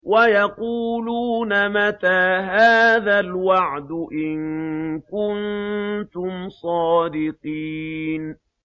وَيَقُولُونَ مَتَىٰ هَٰذَا الْوَعْدُ إِن كُنتُمْ صَادِقِينَ